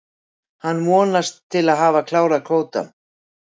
Hann vonast til að hafa klárað kvótann.